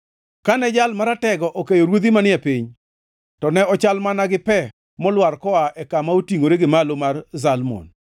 Kane Jal Maratego okeyo ruodhi manie piny, to ne ochal mana gi pe molwar koa e kama otingʼore gi malo mar Zalmon.